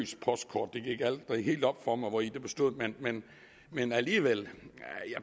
postkort det gik aldrig helt op for mig hvori det bestod men alligevel